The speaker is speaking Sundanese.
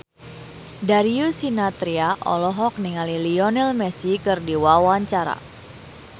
Darius Sinathrya olohok ningali Lionel Messi keur diwawancara